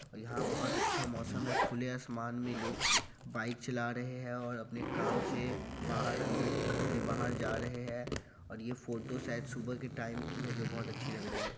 और यहा बहुत अच्छा मौसम है| खुले आसमान मे लोग बाइक चला रहे है और अपने काम से बाहर-अंदर घर के बाहर जा रहे है और यह फोटो शायद सुबह की टाइम के है जो बहुत अच्छे लग रही है।